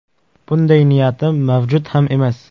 Bunday niyatim mavjud ham emas.